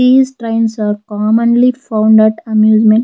These trains are commonly found at amusement.